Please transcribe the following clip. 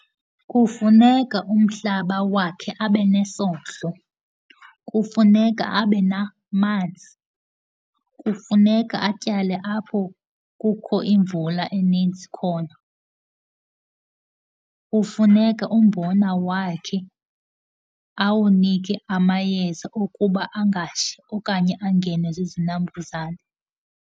Kufuneka umhlaba wakhe abe nesondlo. Kufuneka abe namanzi. Kufuneka atyale apho kukho imvula eninzi khona. Kufuneka umbona wakhe awunike amayeza ukuba angashi okanye angenwe zizinambuzane.